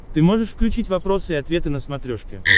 ты можешь включить вопросы и ответы на смотрешке